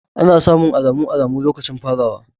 Ana samun alamun alamun lokacin farawa.